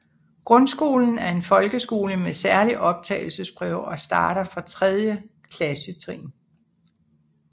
Grundskolen er en folkeskole med særlig optagelsesprøve og starter fra tredje klassetrin